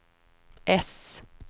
äss